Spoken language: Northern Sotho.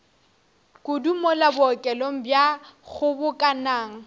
kudu mola bookelong bja kgobokanang